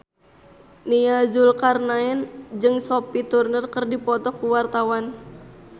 Nia Zulkarnaen jeung Sophie Turner keur dipoto ku wartawan